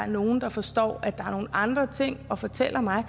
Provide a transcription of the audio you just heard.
nogle der forstår at der er nogle andre ting og fortæller mig